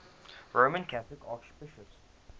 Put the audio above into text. roman catholic archbishops